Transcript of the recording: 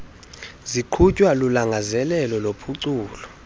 ziqhutywa lulangazelelo lokuphucula